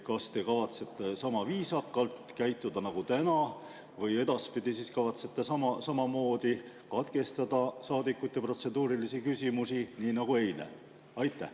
Kas te kavatsete sama viisakalt käituda nagu täna või edaspidi kavatsete samamoodi katkestada saadikute protseduurilisi küsimusi nagu eile?